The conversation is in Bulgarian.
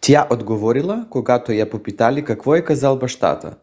тя отговорила когато я попитали какво е казал бащата: